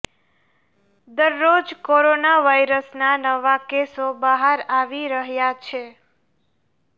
દરરોજ કોરોના વાયરસના નવા કેસો બહાર આવી રહ્યા છે